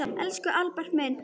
Elsku Albert minn, há joð.